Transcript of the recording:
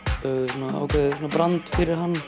svona ákveðið brand fyrir hann